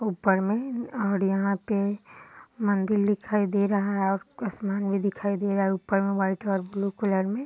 ऊपर में और यहाँ पे मंदील दिखाई दे रहा है और आसमान में दिखाई दे रहा है ऊपर वाइट और ब्लू कलर में।